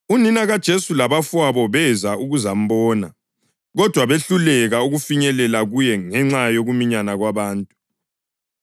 Unina kaJesu labafowabo beza ukuzambona, kodwa behluleka ukufinyelela kuye ngenxa yokuminyana kwabantu.